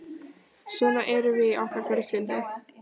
Svona erum við í okkar fjölskyldu.